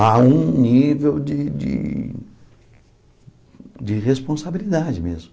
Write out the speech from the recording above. Há um nível de de de responsabilidade mesmo.